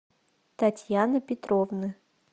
татьяны петровны